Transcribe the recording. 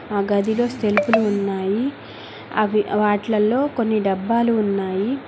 ఆ గదిలో సెల్ఫ్ లు ఉన్నాయి అవి వాటిలల్లో కొన్ని డబ్బాలు ఉన్నాయి.